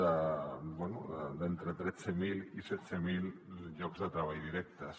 bé d’entre tretze mil i setze mil llocs de treball directes